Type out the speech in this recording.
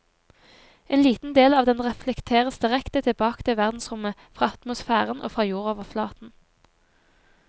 En liten del av den reflekteres direkte tilbake til verdensrommet fra atmosfæren og fra jordoverflaten.